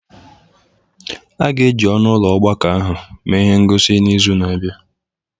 A ga-eji ọnụ ụlọ ọgbakọ ahụ mee ihe ngosi n'izu na-abịa.